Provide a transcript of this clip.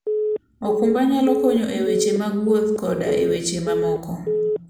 okumba nyalo konyo e weche mag wuoth koda e weche mamoko.